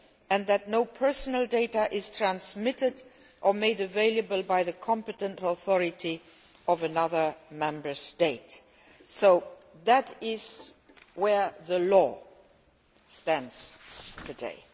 and that no personal data is transmitted or made available by the competent authority of another Member State. So that is how the law stands today.